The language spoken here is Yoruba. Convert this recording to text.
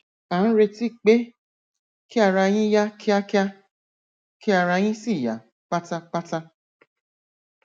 à ń retí pé kí ara yín yá kíákíá kí ara yín sì yá pátápátá